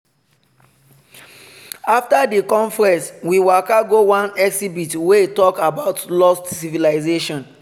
after di conference we waka go one exhibit wey talk about lost civilization.